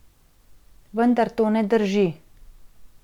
Vendar to ne drži.